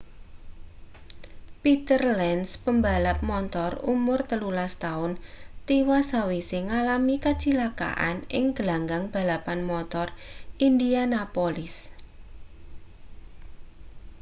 peter lenz pembalap montor umur 13 taun tiwas sawise ngalami kacilakan ing glanggang balapan motor indianapolis